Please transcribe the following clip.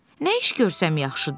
Nə iş görsəm yaxşıdır?